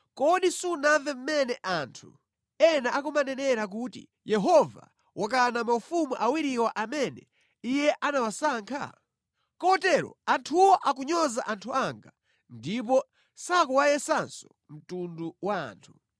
“Kodi sunamve mmene anthu ena akumanenera kuti, ‘Yehova wakana maufumu awiriwa amene Iye anawasankha.’ Kotero anthuwo akunyoza anthu anga ndipo sakuwayesanso mtundu wa anthu.